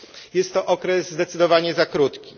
Jest to okres zdecydowanie za krótki.